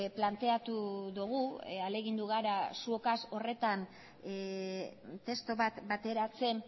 planteatu dugu ahalegindu gara zuokaz horretan testu bat bateratzen